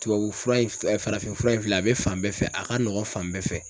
Tubabufura in farafinfura in filɛ a bɛ fan bɛɛ fɛ a ka nɔgɔn fan bɛɛ fɛ.